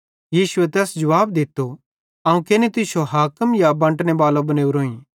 यीशुए तैस जुवाब दित्तो अवं केनि तुश्शो हाकिम या बंटने बालो बनेवरोइं